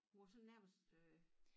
Hun var sådan nærmest øh